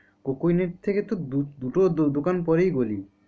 Coke oven থেকে তো দুটো দোকান পরেই গলি।